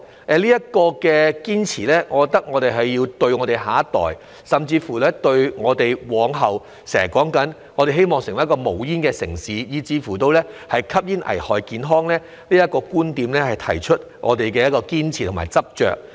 對於這個堅持，我覺得我們要對得起我們的下一代，並就香港往後要成為一個無煙城市及吸煙危害健康這些我們經常提到的觀點，提出我們的堅持和執着。